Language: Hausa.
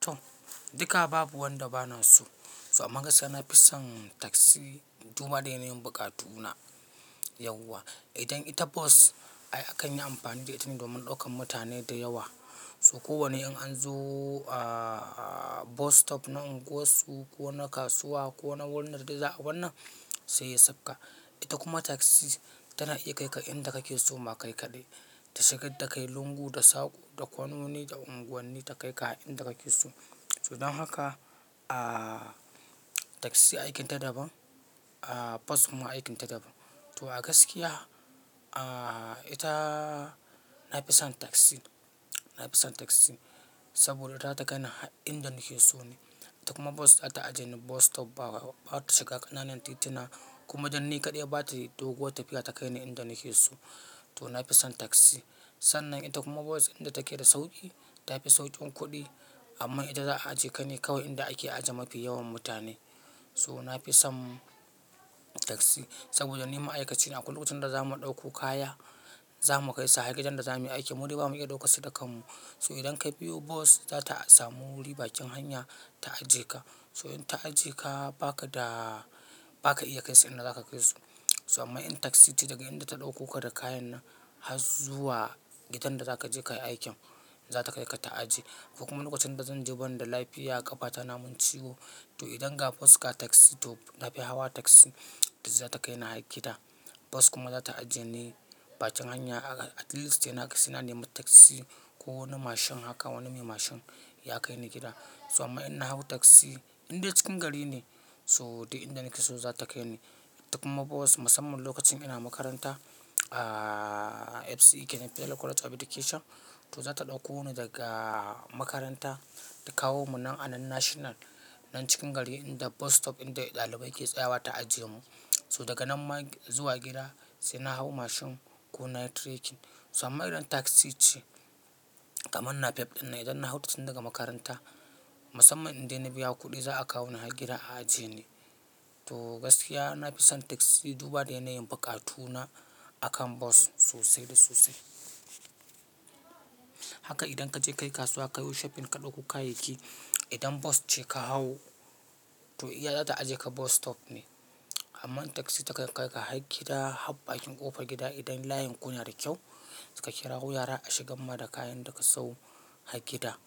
To, duka babu wanda bana so. So amma gaskiya nafi son taxi, duba da yanayin buƙatuna yauwa. Idan ita bus ai akan yi amfani da ita ne domin daukan mutane da yawa. So ko wane in an zo a bus stop na unguwar su ko na kasuwa ko na wani a wannan sai ya sauka. Ita kuma taxi tana iya kai ka inda kake so ma kai kaɗai. Ta shiga da kai lungu da sako da kononi da unguwanni ta kai ka har inda kake so. To don haka a taxi aikin ta daban, a bus kuma aikin ta daban. To a gaskiya a ita nafison taxi, nafison taxi. Saboda za ta kai ni har inda nake so ne. Ita kuma bus za ta ajiye ni bus stop ba, ba ta shiga ƙananan tituna kuma dan ni kaɗai bata doguwar tafiya ta kai ni inda nake so. To nafison tasi. Sannan ita kuma bus inda take da sauƙi, tafi sauƙin kuɗi. Amma ita za a ajiye ka ne kawai inda ake ajiye mafi yawan mutane. To nafi son taxi saboda ni ma'aikaci ne, akwai lokacin da zamu ɗauko kaya, zamu kai sa har gidan da zamuyi aiki. Mu dai bamu iya ɗaukar su da kanmu. So idan ka biyo bas za ta samu wuri bakin hanya ta ajiye ka. To in ta ajiye ka, ba ka da, ba ka iya kai su inda za ka kai su. So amma in taxi ce daga inda ta ɗauko ka da kayan nan har zuwa gidan da zaka je kayi aikin, zata kai ka ta ajiye. Kuma lokacin da zanje banda lafiya kafata namin ciwo, toh idan ga bus ga taxi, toh nafi hawa taxi duk zata kaini har gida, bus kuma zata aje ni. Bakin hanya kaga at least sai, saina nema taxi ko wani mashin haka wani mai mashin ya kai ni gida. So amma in na hau taxi indai cikin gari ne so duk inda nake so za ta kai ni. Ita kuma bus musamman lokacin ina makaranta a FCE kenan Federal College of Education toh za ta ɗauko ni daga makaranta ta kawo mu nan a nan national. Nan cikin gari inda bus stop inda ɗalibai ke tsayawa ta ajiye mu. Toh daga nan ma zuwa gida, sai na hau machine ko nayi trekking, amma idan taxi ceh. Kaman napep ɗin nan idan na hau ta daga makaranta, musamman idan ina biya kuɗi za a kawo ni har gida a ajiye ni. To gaskiya nafison taxi duba da yanayin buƙatu na akan bus sosai da sosai. Haka idan kaje kayi kasuwa, kayo shopping ka ɗauko kayayyaki. Idan bus ce ka hau to iya zata ajiye ka bus stop ne. Amma taxi ta kan kai ka har gida har bakin ƙofar gida idan layin ku na da kyau. Sai ka kirawo yara a shigar ma da kayan da ka siyo har gida,